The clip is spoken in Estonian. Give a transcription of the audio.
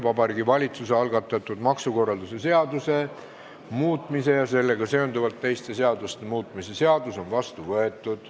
Vabariigi Valitsuse algatatud maksukorralduse seaduse muutmise ja sellega seonduvalt teiste seaduste muutmise seadus on vastu võetud.